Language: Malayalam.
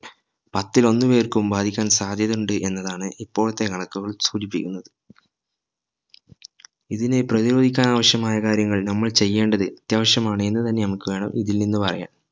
പത്തിൽ ഒന്ന് പേർക്കും ബാധിക്കാൻ സാധ്യത ഉണ്ട് എന്നതാണ് ഇപ്പോഴത്തെ കണക്കുകൾ സൂചിപ്പിക്കുന്നത് ഇതിനെ പ്രധിരോധിക്കാൻ ആവിശ്യമായ കാര്യങ്ങൾ നമ്മൾ ചെയ്യേണ്ടത് അത്യാവശ്യമാണ് എന്ന് തന്നെ നമുക്ക് വേണം ഇതിൽ നിന്ന് പറയാൻ